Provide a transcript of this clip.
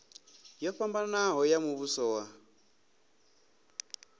yo fhambanaho ya muvhuso wa